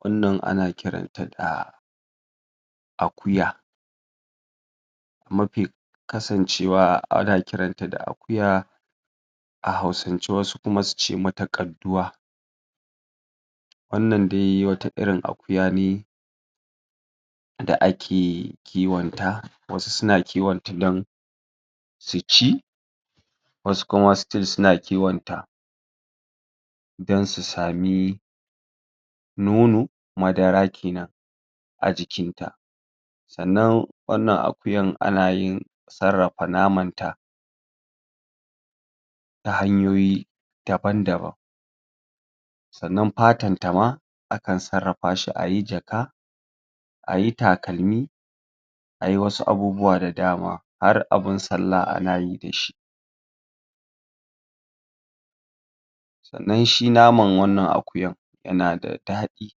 Wannan ana kiran ta da akuya mafi kasancewa ana kiran ta da akuya a hausance, wasu kuma suce mata Ƙadduwa wannan dai wani irin akuya ne da ake kiwon ta, wasu suna kiwon ta dan su ci wasu kuma still suna kiwon ta dan su sami nono madara kenan a jikinta sannan wannan akuyan ana yin sarrafa naman ta ta hanyoyi daban-daban sannan fatan ta ma, akan sarrafa shi ayi jaka, ayi takalmi ayi wasu abubuwa da dama har abun sallah anayi dashi sannan shi naman wannan akuyan yana da ɗadi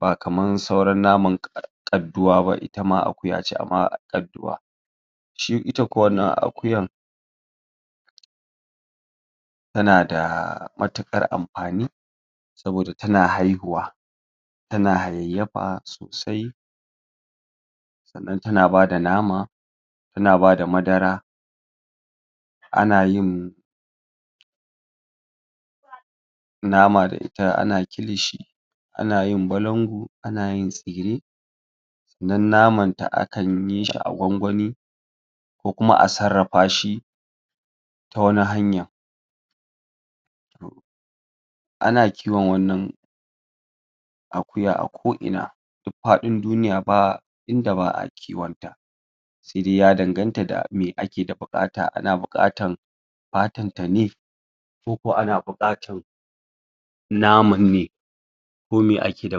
ba kaman sauran Ƙadduwa ba, itama akuya ce amma Ƙadduwa shi.... ita kuwa wannan akuyan tanda matuƘar amfani saboda tana haihuwa tana hayayyafa sosai sannan tana bada nama tana bada madara ana yin nam da ita, ana kilishi ana yin balangu ana yin tsire sannan naman ta akanyi shi a gwangwani kukuma a sarrafa shi ta wani hanya ana kiwon wannan akuya a ko ina duk fadin duniya ba inda ba'a kiwon ta saidai ya danganta da me ake ada bukata, ana bukatan patan tane kokuwa ana bukatan naman ne ko me ake da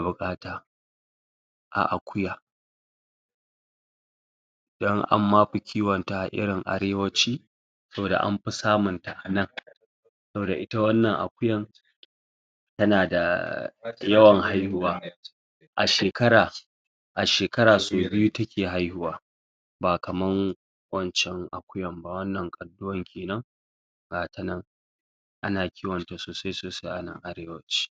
bukata a akuya dan anma fi kiwo ta a irin arewaci saboda nafi samu ta anan saboda ita wannan akuyan tana da yawan haihuwa a shekara a shekara sau biyu take haihuwa ba kaman wancan akuyan ba, wancen Ƙadduwan kenan ga tanan ana kiwon ta sosai sosai anan arewaci